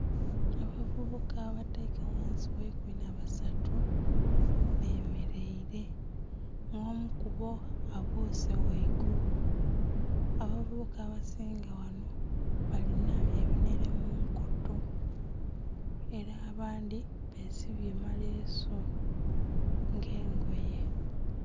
Abavubuka abataika ghansi gha ikumi nhabasatu bemeleile. Omu kubo abuuse ghaigulu. Abavubuka abasinga ghanho balinha ebinhele munkoto ela abandhi besibye malesu ng'engoye.